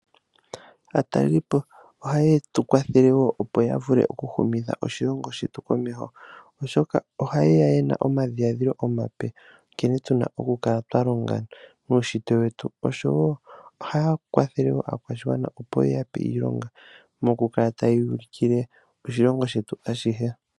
Aatalelipo ohaye tu kwathele wo opo ya vule oku humitha oshilongo shetu komeho. Oshoka ohaye ya yena omadhiladhilo omape nkene tuna oku kala twa longa nuunshitwe wetu. Osho wo ohaya kwathele wo aakwashigwa opo ye ya pe iilonga mokukala taye yu ulukile oshilongo shetu ashihe.